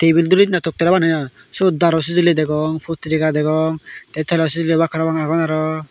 tebel durise na toktar seyot daru segere degong puterega degong te talo segere obak parapang agon aro.